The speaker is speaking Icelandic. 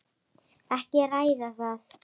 Ekki að ræða það.